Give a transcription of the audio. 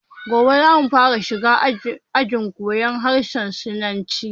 Gobe zamu fara shiga ajin koyan harshen sinanci